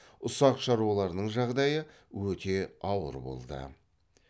ұсақ шаруалардың жағдайы өте ауыр болды